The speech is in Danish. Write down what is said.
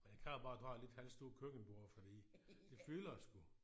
Men det kræver bare at du har et lidt halvstort køkkenbord fordi det fylder sgu